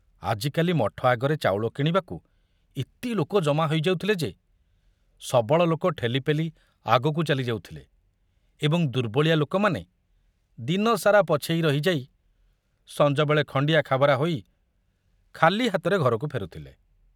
ଆଜିକାଲି ମଠ ଆଗରେ ଚାଉଳ କିଣିବାକୁ ଏତେ ଲୋକ ଜମା ହୋଇଯାଉଥିଲେ ଯେ ସବଳ ଲୋକ ଠେଲିପେଲି ଆଗକୁ ଚାଲି ଯାଉଥିଲେ ଏବଂ ଦୁର୍ବଳିଆ ଲୋକମାନେ ଦିନସାରା ପଛେଇ ରହି ଯାଇ ସଞ୍ଜବେଳେ ଖଣ୍ଡିଆ ଖାବରା ହୋଇ ଖାଲି ହାତରେ ଘରକୁ ଫେରୁଥିଲେ।